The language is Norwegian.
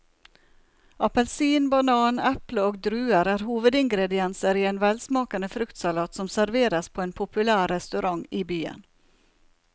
Appelsin, banan, eple og druer er hovedingredienser i en velsmakende fruktsalat som serveres på en populær restaurant i byen.